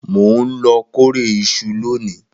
Mo n lọ kórè ìṣù lóni